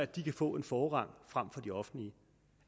de kan få en forrang frem for det offentlige